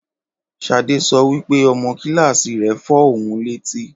Ṣadé sọ wípé; ọmọ kílàsí rẹ fọ ohun lẹ́tí